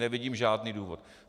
Nevidím žádný důvod.